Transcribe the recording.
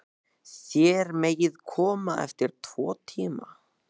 Þér megið koma eftir tvo tíma.